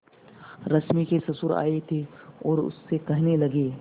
रश्मि के ससुर आए थे और उससे कहने लगे